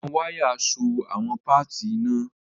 Awọn waya so awọn paati itanna.